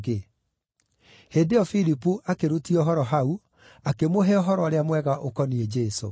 Hĩndĩ ĩyo Filipu akĩrutia ũhoro hau, akĩmũhe Ũhoro-ũrĩa-Mwega ũkoniĩ Jesũ.